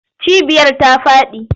Cibiyar ta faɗi.